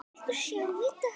Viltu sjá þetta!